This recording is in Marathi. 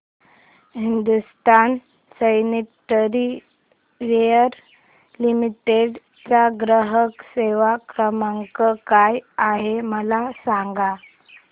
हिंदुस्तान सॅनिटरीवेयर लिमिटेड चा ग्राहक सेवा क्रमांक काय आहे मला सांगा